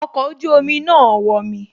Ọkọ̀ ojú omi náà wọmi